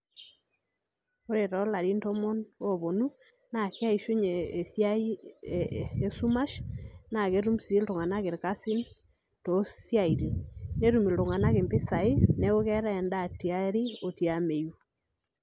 Ore toolarin tomon ooponu naa keishunye esiai esumash naa ketum sii iltung'anak irkasin toosiatin netum iltung'anak impisai neeku keetai endaa te aari oo tiameyu.